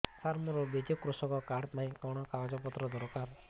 ସାର ମୋର ବିଜୁ କୃଷକ କାର୍ଡ ପାଇଁ କଣ କାଗଜ ପତ୍ର ଦରକାର